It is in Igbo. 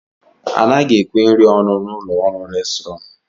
Anaghị ekwe nri ọnụ n'ụlọ nri restrọn